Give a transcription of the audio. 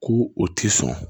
Ko o tɛ sɔn